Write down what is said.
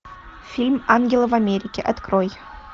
фильм ангелы в америке открой